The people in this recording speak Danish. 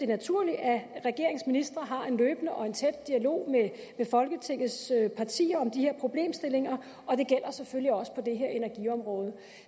naturligt at regeringens ministre har en løbende og en tæt dialog med folketingets partier om de her problemstillinger og det gælder selvfølgelig også på det her energiområde